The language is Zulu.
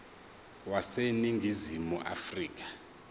wase ningizimu afrika